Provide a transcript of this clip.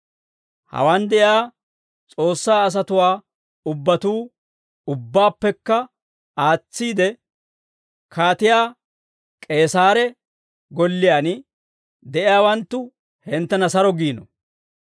Hawaan de'iyaa S'oossaa asatuwaa ubbatuu, ubbaappekka aatsiide Kaatiyaa K'eesaare golliyaan de'iyaawanttu hinttena saro giino.